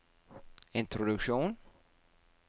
introduksjon